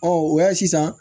o y'a sisan